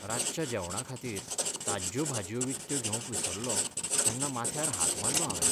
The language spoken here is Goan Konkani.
रातच्या जेवणाखातीर ताज्ज्यो भाजयो विकत्यो घेवंक विसरलों तेन्ना माथ्यार हात मारलो हांवें.